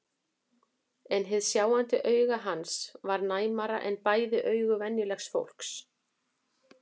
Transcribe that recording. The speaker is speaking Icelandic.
En hið sjáandi auga hans var næmara en bæði augu venjulegs fólks.